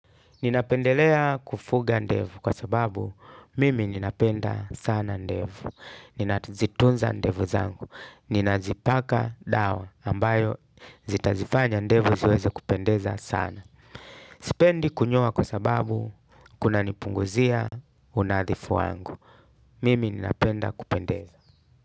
Ninapendelea kufuga ndevu kwa sababu mimi ninapenda sana ndevu. Ninazitunza ndevu zangu. Ninazipaka dawa ambayo zitazifanya ndevu ziweze kupendeza sana. Sipendi kunyoa kwa sababu kuna nipunguzia unadhifu wangu. Mimi ninapenda kupendeza.